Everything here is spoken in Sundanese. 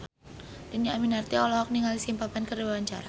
Dhini Aminarti olohok ningali Simple Plan keur diwawancara